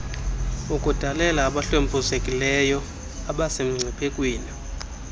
ukudalela abahlwempuzekileyo abasemngciphekweni